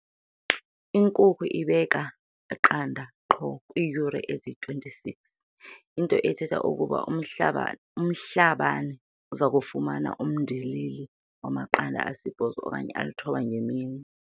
Inkukhu ibeka iqanda qho kwiiyure ezingama-26, into ethetha ukuba uMhlabane uza kufumana umndilili wamaqanda asibhozo okanye alithoba ngemini.